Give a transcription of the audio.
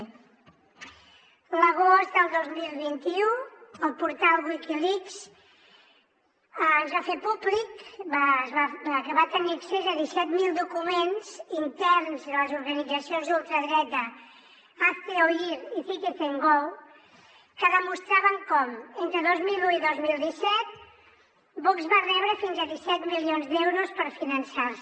a l’agost del dos mil vint u el portal wikileaks ens va fer públic que va tenir accés a disset mil documents interns de les organitzacions d’ultradreta hazte oír i citizengo que demostraven com entre dos mil un i dos mil disset vox va rebre fins a disset milions d’euros per finançar se